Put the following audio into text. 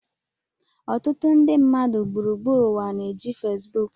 Ọtụtụ nde mmadụ gburugburu ụwa na-eji Fesbuku